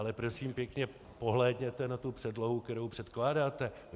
Ale prosím pěkně, pohlédněte na tu předlohu, kterou předkládáte.